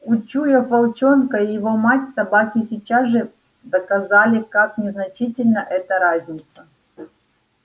учуяв волчонка и его мать собаки сейчас же доказали как незначительна эта разница